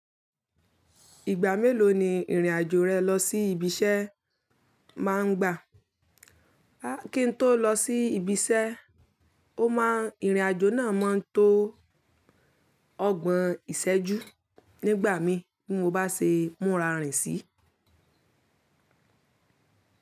Ìgbà mélòó ni ìrìn-àjò rẹ lọ sí ibiṣẹ́ máa ń gbà? Kí n tó lọ sí ibiṣẹ́, ó máa ìrìn-àjò náà máa tó ọgbọ̀n ìṣẹ́jú nígbà mí bí mo bá ṣe múra rìn sí.